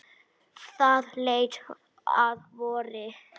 Það leið að vori.